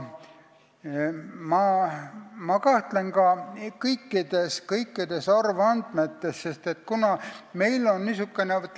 Ma kahtlen ka kõikides arvandmetes, kuna meil on niisugune seis.